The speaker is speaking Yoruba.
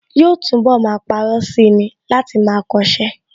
Yóò túnbọ̀ máa parọ́ sí i ni láti máa kọṣẹ́